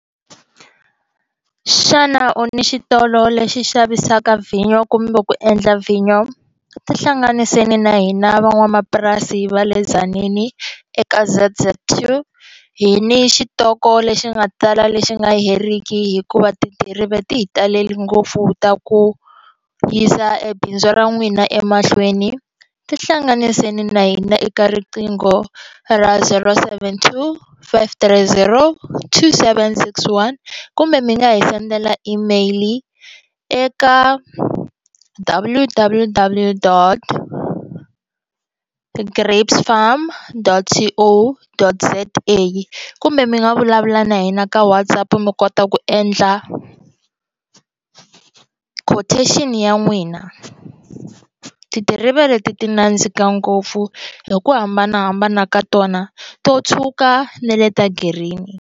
Xana u ni xitolo lexi xavisaka vhinyo kumbe ku endla vhinyo ti hlanganiseni na hina van'wamapurasi va le Tzaneen eka Z Z two hi ni xitoko lexi nga tala lexi nga heriki hikuva tidiriva ti hi talele ngopfu ta ku yisa ebindzu ra n'wina emahlweni ti hlanganiseni na hina eka riqingho ra zero seven two five three zero seven six one kumbe mi nga hi sendela email eka wo W W W dot grapesfarm dot C O dot Z A kumbe mi nga vulavula na hina ka Whatsapp mi kota ku endla ndla quotation ya n'wina tidiriva leti ti nandzika ngopfu hi ku hambanahambana ka tona to tshuka ne le ta green.